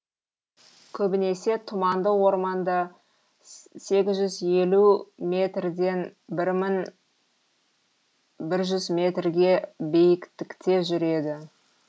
көбінесе тұманды орманда сегіз жүз елу метрден бір мың бір жүз метрге биіктікте жүреді